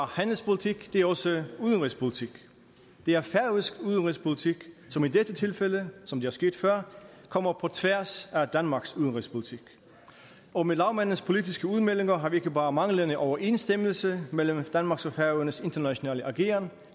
handelspolitik det er også udenrigspolitik det er færøsk udenrigspolitik som i dette tilfælde som det er sket før kommer på tværs af danmarks udenrigspolitik og med lagmandens politiske udmeldinger har vi ikke bare manglende overensstemmelse mellem danmarks og færøernes internationale ageren